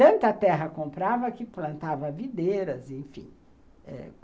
Tanta terra comprava que plantava videiras, enfim, eh